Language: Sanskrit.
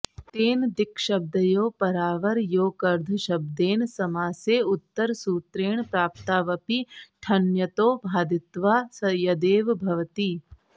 तेन दिक्शब्दयोः परावरयोकर्धशब्देन समासे उत्तरसूत्रेण प्राप्तावपि ठञ्यतौ बाधित्वा यदेव भवति